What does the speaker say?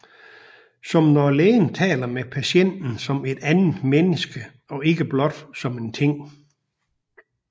Som når lægen taler med patienten som et andet menneske og ikke blot som en ting